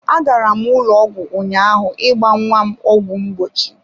Agara m ụlọ ọgwụ ụnyaahụ ịgba nnwa m ọgwụ mgbochi.